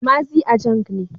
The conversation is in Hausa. Maazi Ajang ne.